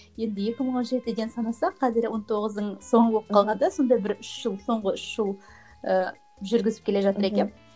енді екі мың он жетіншіден санасақ қазір он тоғыздың соңы болып қалғанда сонда бір үш жыл соңғы үш жыл ыыы жүргізіп келе жатыр екенмін